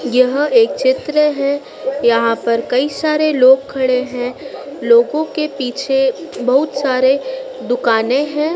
यह एक चित्र हैं यहाँ पर कई सारे लोग खड़े हैं लोगों के पीछे बहुत सारे दुकानें हैं